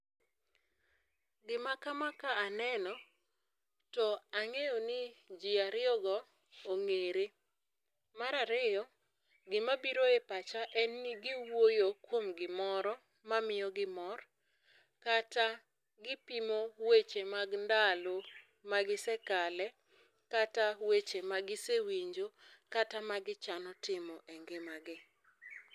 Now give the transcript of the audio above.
Gima kama ka aneno to ang'eyo ni jii ariyogo ong'ere. Mar ariyo gima biro epacha en ni giwuoyo kuom gimoro ma miyo gi mor kata gipimo weche mag ndalo magisekale kata weche magisewinjo kata magichano timo e ngimagi.